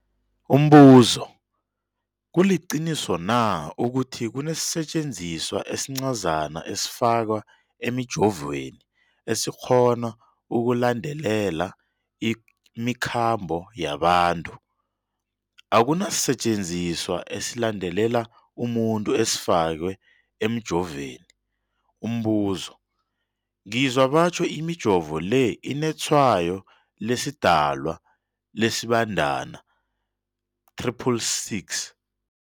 Umbuzo, kuliqiniso na ukuthi kunesisetjenziswa esincazana esifakwa emijovweni, esikghona ukulandelela imikhambo yabantu? Akuna sisetjenziswa esilandelela umuntu esifakwe emijoveni. Umbuzo, ngizwa batjho imijovo le inetshayo lesiDalwa, lesiBandana 666.